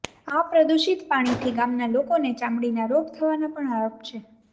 આ પ્રદુષિત પાણીતી ગામના લોકોને ચામડીના રોગ થવાના પણ આરોપ છે